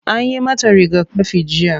Anyi mata rigakafi jiya.